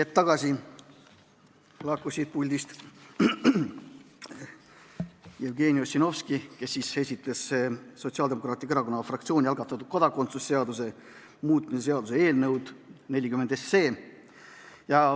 Hetk tagasi lahkus siit puldist Jevgeni Ossinovski, kes esitas Sotsiaaldemokraatliku Erakonna fraktsiooni algatatud kodakondsuse seaduse muutmise seaduse eelnõu 40.